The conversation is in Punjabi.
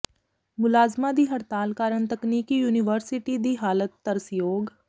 ਮੁਲਾਜ਼ਮਾਂ ਦੀ ਹਡ਼ਤਾਲ ਕਾਰਨ ਤਕਨੀਕੀ ਯੂਨੀਵਰਸਿਟੀ ਦੀ ਹਾਲਤ ਤਰਸਯੋਗ